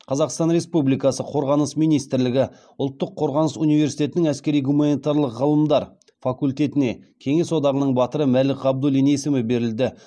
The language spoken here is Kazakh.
қазақстан республикасы қорғаныс министрлігі ұлттық қорғаныс университетінің әскери гуманитарлық ғылымдар факультетіне кеңес одағының батыры мәлік ғабдуллин есімі берілді